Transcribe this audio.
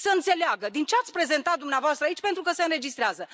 Să înțeleagă din ce ați prezentat dumneavoastră aici pentru că se înregistrează.